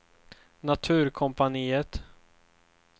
Naturkompaniet